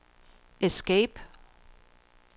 escape